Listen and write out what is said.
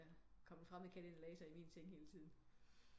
Hvis der kom en fremmed kat ind i min seng og lagde sig hele tiden